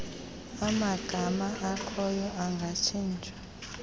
amagama akhoyo angatshintshwa